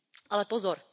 Ale pozor.